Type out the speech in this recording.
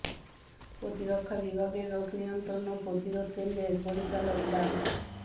প্রতিরক্ষা বিভাগের রোগ নিয়ন্ত্রণ ও প্রতিরোধ কেন্দ্রের পরিচালক ডা